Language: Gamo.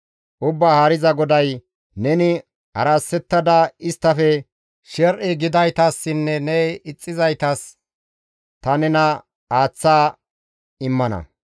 «Ubbaa Haariza GODAY, ‹Neni harasettada isttafe sher7i gidaytassinne ne ixxizaytas ta nena aaththada immana.